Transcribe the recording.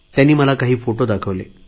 त्यांनी मला काही फोटो दाखवले